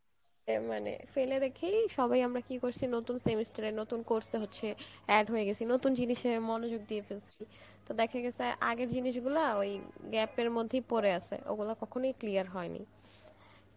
এ মানে দিলে রেখেই সবাই আমরা কি করসি নতুন semester এর নতুন course এর হচ্ছে add হয়ে গেছি, নতুন জিনিসে মনোযোগ দিয়ে ফেলেসি, তো দেখা গেসে আগের জিনিস গুলো ওই gap এর মধ্যেই পরে আসে, ওগুলো কখনই clear হয়েনি